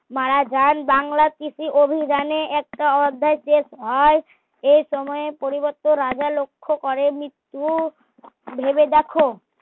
মারা যান বাংলার কৃষি অভিযানে একটা অধ্যায় শেষ হয় এই সময়ে পরিবর্ত রাজা লক্ষ্য করেন মৃত্যু ভেবে দেখো